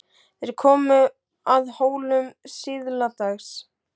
Þeir komu að Hólum síðla dags.